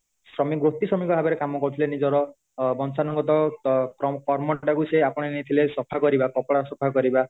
ଶ୍ରମିକମାନେ ଗୋଟି ଶ୍ରମିକ ଭାବରେ କାମ କରୁ ଥିଲେ ନିଜର ବଂଶାନୁଗତ କର୍ମ ଟା କୁ ସେ ଆପଣାଇ ଥିଲେ ସଫା କରିବା କପଡା ସଫା କରିବା